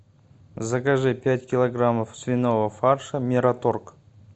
закажи пять килограммов свиного фарша мираторг